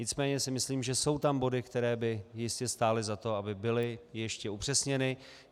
Nicméně si myslím, že jsou tam body, které by jistě stály za to, aby byly ještě upřesněny.